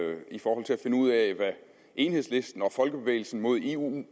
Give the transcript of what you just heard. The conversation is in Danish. finde ud af hvad enhedslisten og folkebevægelsen mod eu